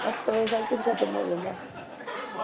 ਸੱਤ ਵਜੇ ਸਬ ਕੁਛ ਖਤਮ ਹੋ ਜਾਂਦਾ